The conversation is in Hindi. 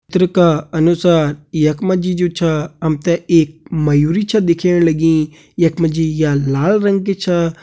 चित्र का अनुसार यख मा जी जु छा हम ते एक मयूरी छ दिखेण लगीं यख मा जी या लाल रंग की छा।